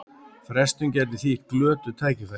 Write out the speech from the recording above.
Frestun gæti þýtt glötuð tækifæri